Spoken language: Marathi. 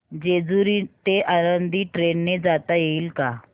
जेजूरी ते आळंदी ट्रेन ने जाता येईल का